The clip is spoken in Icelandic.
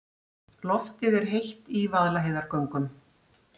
Loftið er heitt í Vaðlaheiðargöngum.